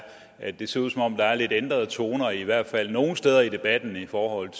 at det ser ud som om der er lidt ændrede toner i hvert fald nogle steder i debatten i forhold